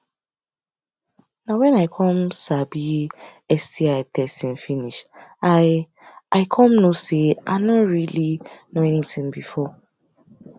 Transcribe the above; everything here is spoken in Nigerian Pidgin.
na when i come sabi sti testing finish i i come know say i no really know anything before